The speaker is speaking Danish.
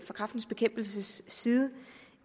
kræftens bekæmpelses side